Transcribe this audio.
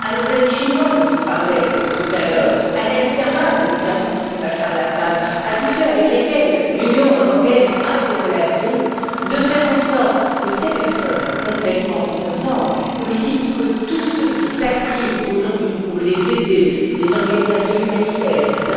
à nos amis chinois, dont on parlait tout à l'heure, à la Ligue arabe, qui a rencontré Bachar al Assad, à tous ceux avec lesquels l'Union européenne a des relations, de faire en sorte que ces personnes complètement innocentes soient libérées et aussi que tous ceux qui s'activent aujourd'hui pour les aider les organisations humanitaires, etc.